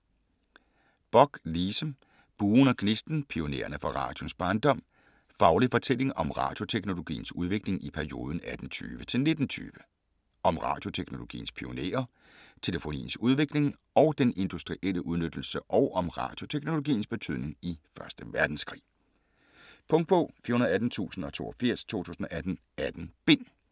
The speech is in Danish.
Bock, Lise: Buen og gnisten: pionererne fra radioens barndom Faglig fortælling om radioteknologiens udvikling i perioden 1820-1920. Om radioteknologiens pionerer, telefoniens udvikling og den industrielle udnyttelse og om radioteknologiens betydning i første verdenskrig. Punktbog 418082 2018. 18 bind.